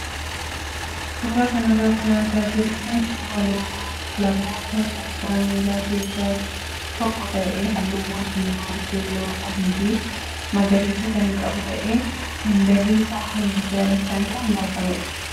Suuraa kanarra kan argaa jirru kun suuraa loogoo kilaboota kubbaa miilaa keessaa keessaa tokko ta'ee halluuwwan diimaa, keeloo, adii fi magariisa kan qabu ta'ee handaarri isaa halluu daalachaan kan marfamedha.